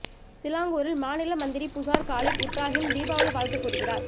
Selangor மாநில மந்திரி புசார் காலிட் இப்ராகிம் தீபாவளி வாழ்த்து கூறுகிறார்